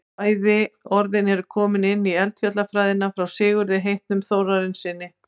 bæði orðin eru komin inn í eldfjallafræðina frá sigurði heitnum þórarinssyni